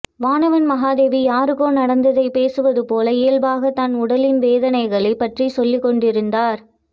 வானவன் மாதேவி யாருக்கோ நடந்தைதைப் பேசுவது போல இயல்பாகத் தன் உடலின் வலி வேதனைகளைப் பற்றி சொல்லிக கொண்டிருந்தார்